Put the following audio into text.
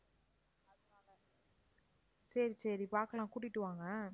சரி, சரி பார்க்கலாம் கூட்டிட்டு வாங்க